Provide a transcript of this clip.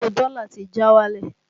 Owó dọ́lá ti já wálẹ̀